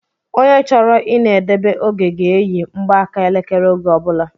Ònye chọrọ I na edebe oge ga eyi mgbaka elekere oge ọbula